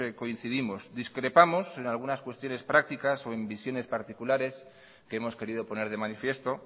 coincidimos discrepamos en algunas cuestiones prácticas o en visiones particulares que hemos querido poner de manifiesto